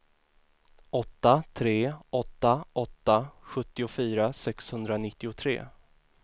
åtta tre åtta åtta sjuttiofyra sexhundranittiotre